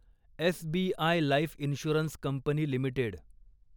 SBI life insurance company limited